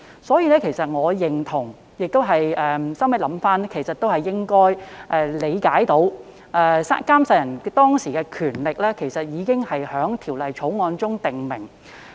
因此，我回想後亦認同，《條例草案》可以這樣理解，監誓人在監誓當時的權力已在《條例草案》中訂明。